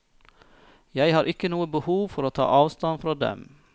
Jeg har ikke noe behov for å ta avstand fra dem.